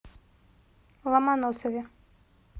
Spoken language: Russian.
ломоносове